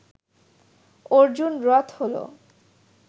অর্জুন রথ হল